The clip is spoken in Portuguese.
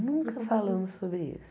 Nunca falamos sobre isso.